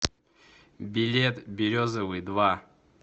билет березовый два